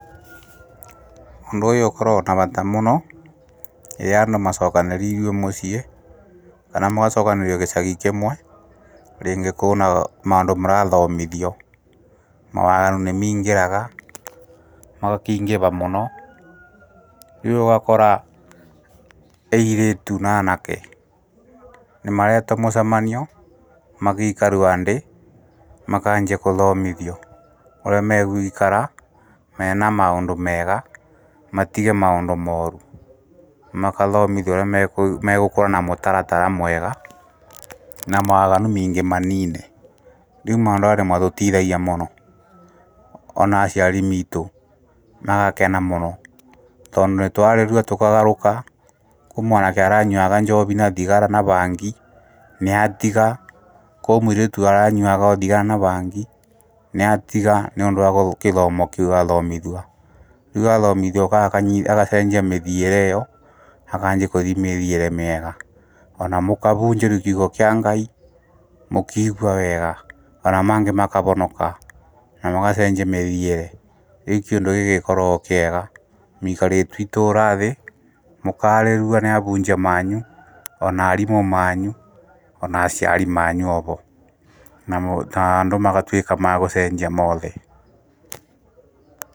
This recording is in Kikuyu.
Ũndũ ũyũ ũkoragwo na vata mũno, rĩrĩa andũ macokanĩrirwe mũciĩ ,kana mũgaciokanĩrĩrio gĩcagi kĩmwe, rĩngĩ kũũna maũndũ mũrathomithio, mawaganu nĩ miingĩraga, magakĩingĩva mũno ,rĩu ũgakora airĩtu na aanake nĩmaretwo mũcemanio magikarwa ndĩ, makanjia kũthomithio ũrĩa me guikara mena maũndũ mega, matige maũndũ mooru, makathomithio ũrĩa megũkũra mũtarara mwega, na mawaganu meingĩ manine, rĩu maũndũ arĩa matũtithagia mũno ona aciari miitũ magakena mũno tondũ nĩtwarĩrua tũkagarũrũka, kwĩ mwanake aranyuaga njovi na thigara na bangi nĩatiga, kwĩ mũirĩtu aranyuaga thigara na bangi nĩatiga nĩũndũ wa kĩthomo kĩu athomithua. Rĩu athomithua agacenjia mĩthiĩre ĩyo, akaanji kũthii mĩthiĩre mĩega ona mũkavũnjĩrio kiugo kĩa Ngai mũkiigua wega ona mangĩ makavonoka na magacenjia mĩthiĩre, rĩu kĩũndũ gĩkĩ nĩgĩkoragwo kĩega mũikarĩtuo itũũra thĩ mũkarĩrua nĩ abunjia manyu, ona aarimũ manyu, ona aciari manyu ovo, na andũ magatuĩka ma gũcenjia moothe.